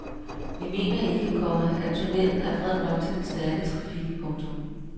Vi mener ikke, komma at tunnelen er bred nok til den stærke traffik. punktum